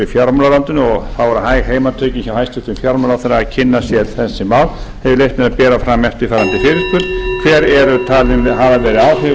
og þá eru hæg heimatökin hjá hæstvirtum fjármálaráðherra að kynna sér þessi mál hef ég leyft mér að bera fram eftirfarandi fyrirspurn hver eru talin hafa verið áhrif